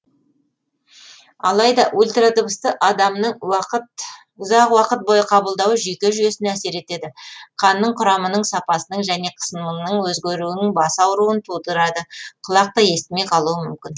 алайда ультрадыбысты адамның ұзақ уақыт бойы қабылдауы жүйке жүйесіне әсер етеді қанның құрамының сапасының және қысымының өзгеруінің бас ауруын тудырады құлақ та естімей қалуы мүмкін